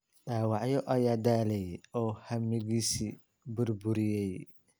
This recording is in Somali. Dhaawacyo ayaa daalay oo hammigiisii ​​burburiyey.